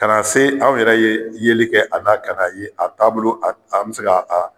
Ka na se anw yɛrɛ ye yeli kɛ a kan ka na ye a taabolo an bɛ se ka